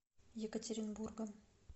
екатеринбургом